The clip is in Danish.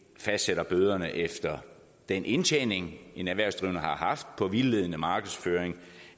fastsætter bøderne efter den indtjening en erhvervsdrivende har haft på vildledende markedsføring